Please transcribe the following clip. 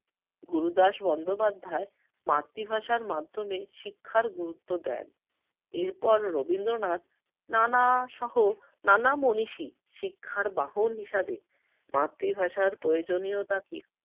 গুরুদাস বন্দোপধ্যায় মাতৃভাষার মাধ্যমে শিক্ষার গুরুত্ব দেন। এরপর রবীন্দ্রনাথ নানাসহ নানা মনীষী শিক্ষার বাহন হিসেবে মাতৃভাষার প্রয়োজনীয়তা কি